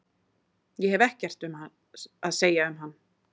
Ég hef ekkert að segja um hann.